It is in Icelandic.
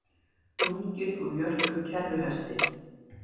Lunginn úr jörpum kerruhesti